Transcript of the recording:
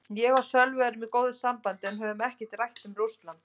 Ég og Sölvi erum í góðu sambandi en höfum ekkert rætt um Rússland.